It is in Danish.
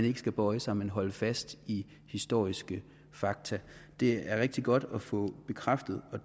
ikke skal bøje sig men holde fast i historiske fakta det er rigtig godt at få bekræftet og